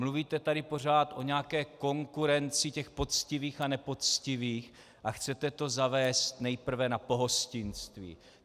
Mluvíte tady pořád o nějaké konkurenci těch poctivých a nepoctivých a chcete to zavést nejprve na pohostinství.